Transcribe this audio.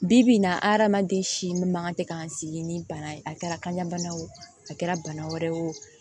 Bi bi in na hadamaden si min man kan ka tɛ k'an sigi ni bana ye a kɛra kanɲa bana o a kɛra bana wɛrɛ ye o